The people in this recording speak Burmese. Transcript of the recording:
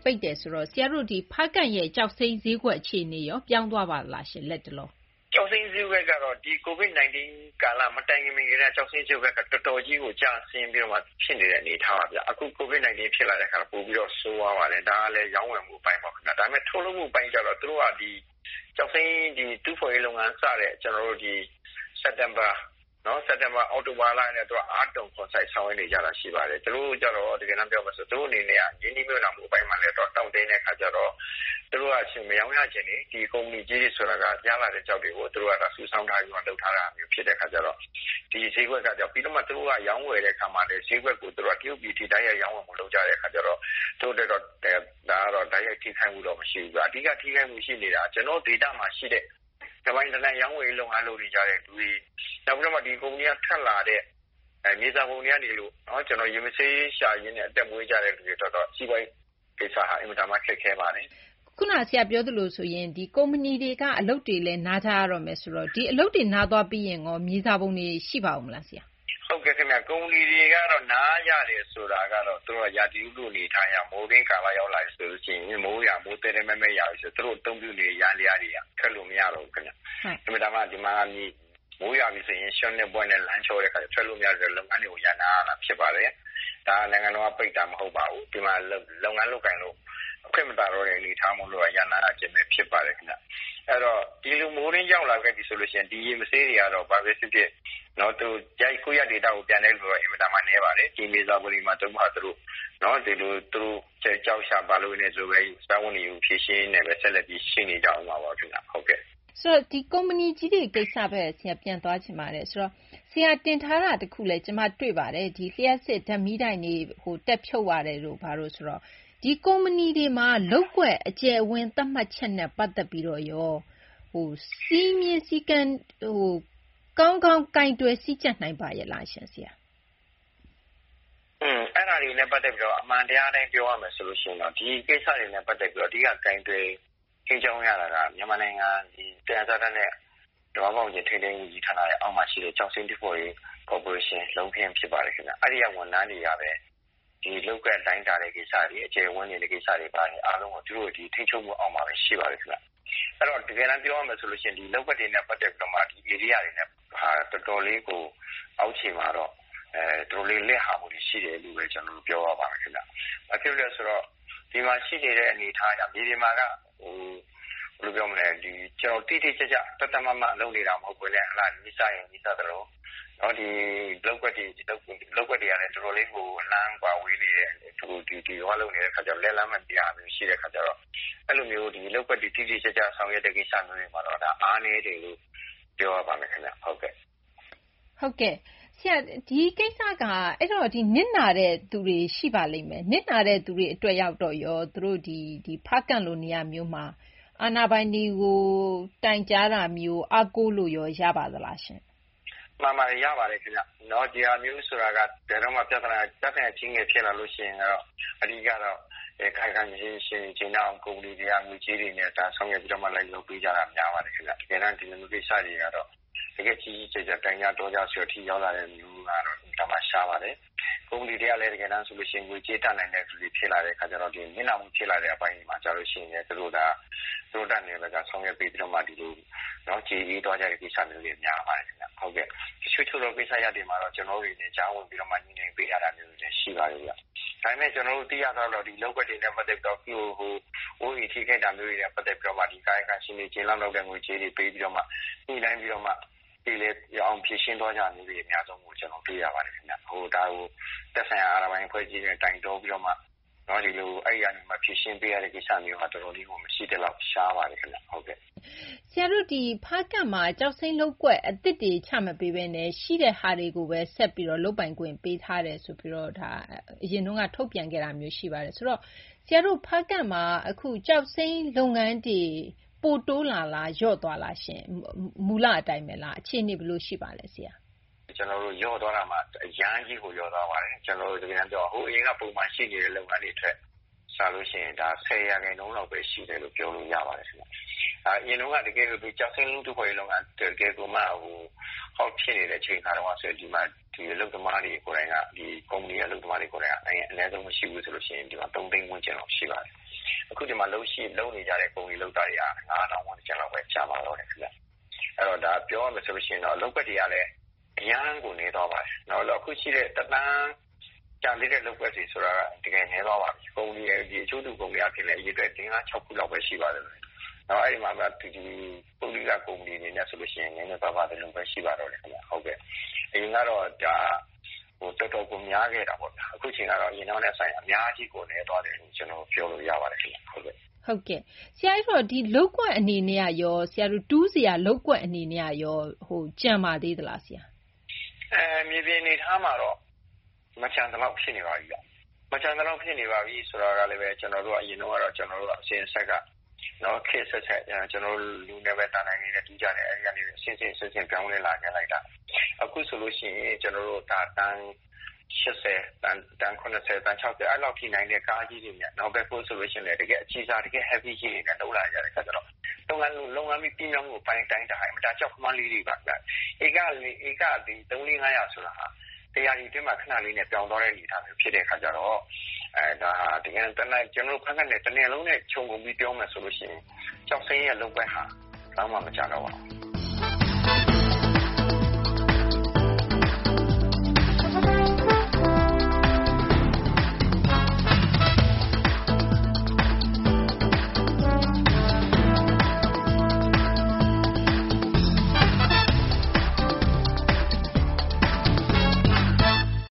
ပိတ်တယ်ဆိုတော့ ဆရာတို့ ဖားကန့် ရဲ့ ကျောက်စိမ်းဈေးကွက် အခြေအနေရော ပြောင်းသွားပါသလားရှင့်။ ကျောက်စိမ်းဈေးကွက်ကတော့ ဒီ COVID 19 မတိုင်ခင် ကတည်းက ကျောက်စိမ်း ဈေးကွက်က တော်တော်ကြီးကို ကျဆင်း နေတဲ့ အနေအထားပါဗျ။ အခု COVID 19 ဖြစ်လာတော့ ပိုပြီးတော့ ဆိုးသွားပါတယ်။ ဒါကလည်း ရောင်းဝယ်မှု အပိုင်းပေါ့ ခင်ဗျ။ ဒါပေမယ့် ထုတ်လုပ်မှု အပိုင်းကျတော့ သူတို့က ဒီ ကျောက်စိမ်း တူးဖော်ရေး လုပ်ငန်း စတဲ့ စက်တင်ဘာ အောက်တိုဘာကတည်းက သူက အားသွန်ခွန်စိုက် ဆောင်ရွက်နေကြတာ ရှိပါတယ်။ သူတို့ အနေနဲ့က ရင်းနှီးမြှုပ်နှံမှု အပိုင်းမှာလည်း တောင့်တင်းတဲ့ အခါကျတော့ သူတို့က ဒီ မရောင်းရချင်နေ ဒီ ကုမ္ပဏီကြီးတွေ ဆိုတာက ရလာတဲ့ ကျောက်တွေကို စုဆောင်းထားပြီးမှ လုပ်ထားတာမျိုး ဖြစ်တဲ့ အခါကျတော့ ဒီဈေးကွက်က သူတို့က ပြီးတော့မှ ရောင်းဝယ်တဲ့ အခါမှာလည်း သူတို့က တရုတ်ပြည်ထိ တိုက်ရိုက် ရောင်းဝယ်မှု လုပ်ကြတဲ့ အခါကျတော့ သူတို့ အတွက် တိုက်ရိုက် ထိခိုက်မှုတော့ မရှိဘူး။ အဓိက ထိခိုက်မှု ရှိနေတာက ကျနော်တို့ ဒေသမှာ ရှိနေတဲ့ တပိုင်တနိုင် ရောင်းဝယ်ရေး လုပ်နေကြတဲ့ ၊ နောက်ပြီးတော့မှ ဒီကုမ္ပဏီက ထွက်လာတဲ့ မြေစာပုံတွေကနေ ရေမဆေးရှာရင်းနဲ့ အသက်မွေးကြတဲ့ သူတွေ အတွက်တော့ စီးပွားရေး ကိစ္စက အင်မတန်မှ ခက်ခဲပါတယ်။ ခုနက ဆရာ ပြောသလိုဆိုရင် ကုမ္ပဏီက အလုပ်တွေလည်း နားကြတော့မယ်ဆိုတော့ ဒီအလုပ်တွေ နားသွားပြီးရင်ရော မြေစာပုံတွေ ရှိပါအုံးမလား။ ကုမ္ပဏီတွေက နားရတယ်ဆိုတာက ရာသီဥတု အနေအထားအရ မိုးတွင်းကာလ ရောက်လာပြီဆိုရင် မိုးသည်းသည်းမဲမဲ ရွာလာပြီ ဆိုရင် သူတို့ အသုံးပြုနေတဲ့ ယန္တရားတွေက ထွက်လို့ မရတော့ဘူး ခင်ဗျ။ ဒီမှာက မိုးရွာပြီ ဆိုရင် ရွှံ့နဲ့ ဗွက်နဲ့ လမ်းချော်တဲ့ အခါ ထွက်လို့ မရလို့ လုပ်ငန်းတွေ ရပ်နားရတာ ဖြစ်ပါတယ်။ ဒါ နိုင်ငံတော်က ပိတ်တာ မဟုတ်ပါဘူး။ လုပ်ငန်း လုပ်ကိုင်လို့ အခွင့်မသာတော့တဲ့ အနေအထားမို့သာ ရပ်နားတာ ဖြစ်ပါတယ် ခင်ဗျ။ ဆိုတော့ ဒီလို မိုးတွင်း ရောက်လာခဲ့ပြီ ဆိုရင် ဒီ ရေမဆေးတွေကတော့ ဘာဘဲ ဖြစ်ဖြစ် ကိုယ့်အရပ် ဒေသကို ပြန်တဲ့သူက အင်မတန်မှ နည်းပါတယ်။ ဒီမြေစာပုံတွေမှာ သူတို့ ကျောက်ရှာ ပြီး စားဝတ်နေရေး ဖြေရှင်းပြီး ဒီလိုဘဲ ဆက်လက် ရှိနေကြဦးမှာ ပါဘဲ ခင်ဗျ။ ဆိုတော့ ကုမ္ပဏီကြီးတွေ ကိစ္စဘက် ဆရာ ပြန်သွားချင်ပါတယ်။ ဆရာ တင်ထားတာ တခုလည်း တွေ့ပါတယ်။ လျှပ်စစ် ဓာတ်မီးတိုင်တွေ တက်ဖြုတ်ရတယ် ဆိုတော့ ဒီ ကုမ္ပဏီတွေမှာ လုပ်ကွက် အကျယ်အဝန်း သတ်မှတ်ချက်နဲ့ ပတ်သက်ပြီးတော့ရော စည်းမျဉ်း စည်းကမ်းကို ကောင်းကောင်း ကိုင်တွယ် ကြီးကြပ်နိုင်ပါရဲ့လား။ အင်း အဲဒါတွေနဲ့ ပတ်သက်ပြီးတော့ အမှန်တရား အတိုင်း ပြောရမယ် ဆိုရင်တော့ ဒီကိစ္စတွေနဲ့ ပတ်သက်ပြီး အဓိက ကိုင်တွယ် ထိန်းကျောင်းရတာက မြန်မာနိုင်ငံ သယံဇာတနဲ့ သဘာ၀ ပတ်ဝန်းကျင် ထိန်းသိမ်းရေး ဝန်ကြီးဌာနရဲ့ အောက်မှာ ရှိတဲ့ ကျောက်စိမ်း တူးဖော်ရေး ကော်ပိုးရေးရှင်း လုံးခင်း ဖြစ်ပါတယ် ခင်ဗျ။ အဲဒီက ဝန်ထမ်းတွေကဘဲ ဒီ လုပ်ကွက် တိုင်းတာတဲ့ ကိစ္စတွေ ၊ အကျယ်အဝန်းနဲ့ ဒီကိစ္စတွေ အားလုံးကို သူတို့ ထိန်းချုပ်မှု အောက်မှာဘဲ ရှိပါတယ်။ တကယ်တန်း ပြောရမယ်ဆိုရင် ဒီ လုပ်ကွက်တွေနဲ့ ပတ်သက်ပြီးတော့မှ ဒီ ဧရိယာတွေနဲ့ ပတ်သက်ရင် တော်တော်လေးကို အောက်ခြေမှာတော့ တော်တော်လေး လစ်ဟာမှုတွေ ရှိတယ်လို့ဘဲ ကျနော်တို့ ပြောရပါမယ် ခင်ဗျ။ ဘာဖြစ်လို့လဲ ဆိုတော့ ဒီမှာ ရှိနေတဲ့ အနေအထားက မြေပြင်မှာက ဘယ်လို ပြောမလဲ တိတိကျကျ သတ်သတ်မှတ်မှတ် လုပ်နေတာ မဟုတ်ဘဲနဲ့ နီးစပ်ရင် နီးစပ်သလို လုပ်ကွက်တွေကလည်း အတော်လေးကို အလှမ်းကွာဝေးတဲ့ အခါ လက်လှမ်းမမီတာတွေ ရှိတဲ့ အခါကျတော့ အဲလိုမျိုး လုပ်ကွက်တွေ တိတိကျကျ ဆောင်ရွက်တဲ့ အခါမှာတော့ အားနည်းတယ်လို့ ပြောရပါမယ် ခင်ဗျ။ အဲဒီတော့ နစ်နာနဲ့သူတွေ ရှိပါလိမ့်မယ်။ နစ်နာတဲ့ သူတွေ အတွက်ရောက်တော့ ရော ဖားကန့်လို နေရာမျိုးမှာ အာဏာပိုင်တွေကို တိုင်ကြားတာမျိုး အားကိုးလို့ရော ရပါသလားရှင့်။ မှန်ပါတယ် ရပါတယ် ခင်ဗျ။ ဒီဟာမျိုး ဆိုတာက ဘယ်တော့မှ ပြသနာ ကြီးငယ် ဖြစ်လာလို့ ရှိရင် အဓိက ကတော့ ကာယကံရှင်တွေ ကျေနပ်အောင် ကုမ္ပဏီတွေက ငွေကြေးတွေနဲ့ ဆောင်ရွက်ပြီးတော့မှ လိုက်လုပ်ပေးကြတာ များပါတယ် ခင်ဗျ။ တကယ်တန်း ဒီလို ကိစ္စတွေက တကယ့် ကြီးကြီးကျယ်ကျယ် တိုင်ကြ တောကြတဲ့ အထိ ရောက်လာတာမျိုးကတော့ အင်မတန်မှ ရှားပါတယ်။ ကုမ္ပဏီတွေကလည်း တကယ်တန်းကျတော့ ငွေကြေးတတ်နိုင်တော့ နစ်နာမှု ဖြစ်လာတဲ့ အပိုင်းတွေမှာလည်း သူတို့ တတ်နိုင်တဲ့ ဘက်က ဆောင်ရွက်ပေးပြီးတော့မှ ကျေအေးသွားကြတာမျိုးတွေ များပါတယ် ခင်ဗျ။ တချို့ ကိစ္စတွေကျတော့ ကျနော်တို့ တတွေ ကြားဝင်ပေးရတာမျိုးတွေလည်း ရှိပါတယ်။ ဒါပေမယ့် ကျနော်တို့ သိရသလောက်တော့ ဒီ လုပ်ကွက်တွေနဲ့ ပတ်သက်ပြီးတော့ အခုလို အိုးအိမ် ထိခိုက်တာတွေနဲ့ ပတ်သက်ပြီးတော့မှ ကာယကံရှင်တွေ ကျေနပ်လောက်တဲ့ ငွေကြေးတွေ ပေးပြီးတော့မှ ညှိနှိုင်းပြီးတော့မှ ပြေလည်အောင် ဖြေရှင်းသွားကြတာတွေ အများဆုံးလို့ ကျနော် တွေ့ရပါတယ်။ သက်ဆိုင်ရာ အာဏာပိုင် အဖွဲ့အစည်းနဲ့ တိုင်တော ပြီးတော့မှ အဲဒီက ဖြေရှင်းပေးရတဲ့ ကိစ္စက မရှိသလောက် ရှားပါတယ်ခင်ဗျ။ ဖားကန့်မှာ ကျောက်စိမ်း လုပ်ကွက် အသစ်တွေ ချ မပေးဘဲနဲ့ ရှိတဲ့ဟာတွေကိုဘဲ ဆက်ပြီးတော့ လုပ်ပိုင်ခွင့် ပေးထားတယ်ဆိုပြီး အရင်တုန်းက ထုတ်ပြန်ခဲ့တာမျိုး ရှိပါတယ်။ ဆိုတော့ အခု ဖားကန့်မှာ ကျောက်စိမ်း လုပ်ငန်းတွေ ပိုတိုးလာလား လျော့လာလား မူလ အတိုင်းဘဲလား အခြေအနေ ဘယ်လို ရှိပါလဲ။ လျော့သွားတာမှ အရမ်းကြီးကို လျော့သွားပါတယ်။ ဟို အရင်က ပုံမှန် ရှိနေတဲ့ လုပ်ငန်းတွေနဲ့ စာလို့ ရှိရင် ၁၀ ရာခိုင်နှုန်းလောက်ဘဲ ရှိတယ်လို့ ပြောလို့ ရပါတယ် ခင်ဗျ။ အရင်တုန်းက တကယ်ဆို ကျောက်စိမ်း တူးဖော်ရေး လုပ်ငန်း တကယ်ကိုမှ ဟော့ ဖြစ်နေတဲ့ အချိန် အခါ တုန်းကဆို ဒီမှာ ဒီလို ကုမ္ပဏီ အလုပ်သမားတွေ ကိုယ်တိုင်က အနည်းဆုံး မရှိဘူး ဆိုရင် ဒီမှာ ၃ သိန်း ဝန်းကျင်လောက် ရှိပါတယ်။ အခု ဒီမှာ လုပ်နေကြတဲ့ ကုမ္ပဏီ လုပ်သားတွေက ၅ ထောင် ဝန်းကျင်လောက်ဘဲ ကျန်ပါ တော့တယ် ခင်ဗျ။ ပြောရမယ်ဆိုရင်တော့ လုပ်ကွက်တွေကလည်း အရမ်းကို နည်းသွားပါတယ်။ အခု ရှိတဲ့ ကျန်သေးတဲ့ လုပ်ကွက်တွေ ဆိုတာက တကယ် နည်းသွားပါပြီ။ အကျိုးတူ ကုမ္ပဏီကလည်း ၄ - ၅- ၆ ခုလောက်ဘဲ ရှိပါတော့တယ်။ အဲဒီမှာဘဲ ပုဂ္ဂလိက ကုမ္ပဏီတွေနဲ့ ဆိုလို့ ရှိရင် နည်းနည်းပါးပါး ဒီလိုဘဲ ရှိပါတော့တယ်။ အရင်ကတော့ တော်တော်ကို များခဲ့တာပေါ့ဗျာ။ အခုအချိန်ကတော့ အရင်နဲ့ စာရင် အများကြီးကို နည်းသွားတယ်လို့ ပြောလို့ ရပါတယ် ခင်ဗျ။ ဆရာတို့ တူးစရာ လုပ်ကွက် အနေနဲ့ကရော ကျန်ပါသေးသလား။ မြေပြင် အနေအထားမှာတော့ မကျန်သလောက် ဖြစ်နေပါပြီ။ မကျန်သလောက် ဖြစ်နေပါပြီ ဆိုတာကလည်းဘဲ အရင်တုန်းက ကျနော်တို့က အစဉ်အဆက်က ခေတ်အဆက်ဆက် လူနဲ့ဘဲ သံတိုင်တွေနဲ့ တူးကြတယ်။ အဲဒီက အဆင့်ဆင့် အဆင့်ဆင့် ပြောင်းလဲလာခဲ့တာ အခုဆိုလို့ ရှိရင် ကျနော်တို့ ဒါ တန် ၈၀ - တန် ၇၀ - တန် ၆၀ အဲဒီလောက်ထိ နိုင်တဲ့ ကားကြီးတွေနဲ့၊ ဘက်ဟိုး ဆိုရင်လည်း တကယ် အကြီးစားကြီးတွေနဲ့ တကယ့် Heavy ကြီးတွေနဲ့ လုပ်လာတဲ့ အခါကျတော့ လုပ်ငန်း ပြီးမြောက်မှု အတိုင်းအတာက အင်မတန် ကြောက်ခမန်းလိလိပါဗျ။ ဧက ၃၀၀ - ၄၀၀ -၅၀၀ ဆိုတာ တရာသီ အတွင်းမှာ ခနလေးနဲ့ ပြောင်သွားတဲ့ အနေအထားမျိုး ဖြစ်တဲ့ အခါကျတော့ ကျနော်တို့ ဖားကန့်နယ် တနယ်လုံးနဲ့ ခြုံငုံပြီး ပြောမယ်ဆိုရင် ကျောက်စိမ်းရဲ့ လုပ်ကွက်ဟာ ဘယ်လောက်မှ မကျန်တော့ပါဘူး။